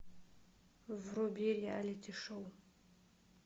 вруби реалити шоу